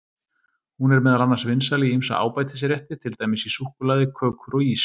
Hún er meðal annars vinsæl í ýmsa ábætisrétti, til dæmis í súkkulaði, kökur og ís.